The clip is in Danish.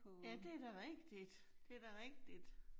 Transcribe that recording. Ja, det da rigtigt, det da rigtigt